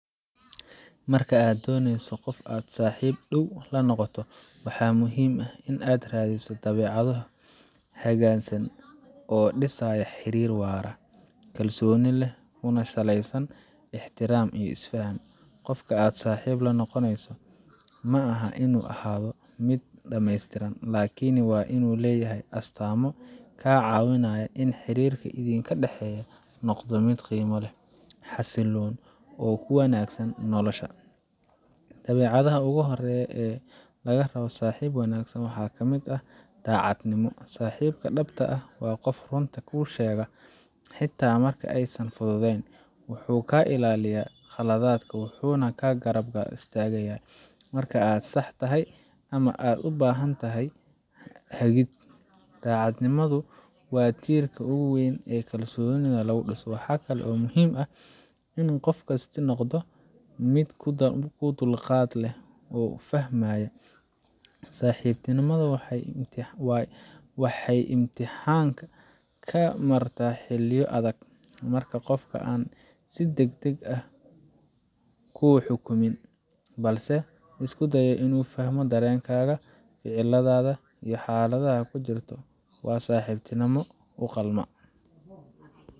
Marka aad dooneyso qof aad saaxiib dhow la noqoto, waxaa muhiim ah in aad raadiso dabeecado hagaagsan oo dhisaya xiriir waara, kalsooni leh, kuna saleysan ixtiraam iyo isfaham. Qofka aad saaxiib la noqonayso ma aha inuu ahaado mid dhammeystiran, laakiin waa inuu leeyahay astaamo kaa caawinaya in xiriirka idinka dhexeeya noqdo mid qiimo leh, xasilloon, oo kuu wanaagsan noloshaada. Dabeecadaha ugu horreeya ee laga rabo saaxiib wanaagsan waxaa ka mid ah daacadnimo. Saaxiibka dhabta ah waa qof runta kuu sheegaya, xitaa marka aysan fududayn. Wuxuu kaa ilaalinayaa khaladaad, wuxuuna kaa garab istaagayaa marka aad sax tahay ama aad u baahan tahay hagid. Daacadnimadu waa tiirka ugu weyn ee kalsoonida lagu dhiso. Waxa kale oo muhiim ah in qofkaasi noqdo mid dulqaad leh oo fahmaya. Saaxiibtinimada waxay imtixaan ka martaa xilliyo adag, marka qofka aan si degdeg ah kuu xukumin, balse isku dayo inuu fahmo dareenkaaga, ficilladaada, iyo xaaladda aad ku jirto, waa qof saaxiibtinimo u qalma.